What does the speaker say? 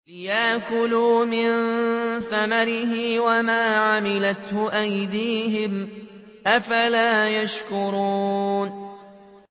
لِيَأْكُلُوا مِن ثَمَرِهِ وَمَا عَمِلَتْهُ أَيْدِيهِمْ ۖ أَفَلَا يَشْكُرُونَ